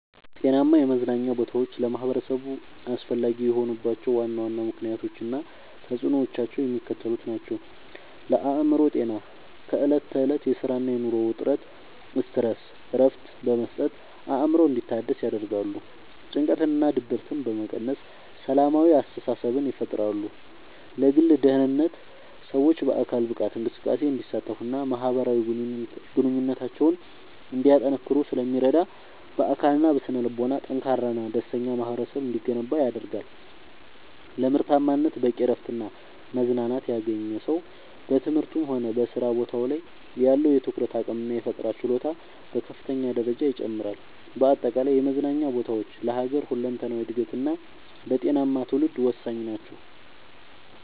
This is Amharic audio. ጤናማ የመዝናኛ ቦታዎች ለማኅበረሰቡ አስፈላጊ የሆኑባቸው ዋና ዋና ምክንያቶች እና ተፅዕኖዎቻቸው የሚከተሉት ናቸው፦ ለአእምሮ ጤና፦ ከዕለት ተዕለት የሥራና የኑሮ ውጥረት (Stress) እረፍት በመስጠት አእምሮ እንዲታደስ ያደርጋሉ። ጭንቀትንና ድብርትን በመቀነስ ሰላማዊ አስተሳሰብን ይፈጥራሉ። ለግል ደህንነት፦ ሰዎች በአካል ብቃት እንቅስቃሴ እንዲሳተፉና ማኅበራዊ ግንኙነታቸውን እንዲያጠናክሩ ስለሚረዱ፣ በአካልና በስነ-ልቦና ጠንካራና ደስተኛ ማኅበረሰብ እንዲገነባ ያደርጋሉ። ለምርታማነት፦ በቂ እረፍትና መዝናናት ያገኘ ሰው በትምህርቱም ሆነ በሥራ ቦታው ላይ ያለው የትኩረት አቅምና የፈጠራ ችሎታ በከፍተኛ ደረጃ ይጨምራል። በአጠቃላይ የመዝናኛ ቦታዎች ለሀገር ሁለንተናዊ እድገትና ለጤናማ ትውልድ ወሳኝ ናቸው።